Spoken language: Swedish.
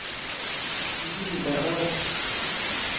Linderöd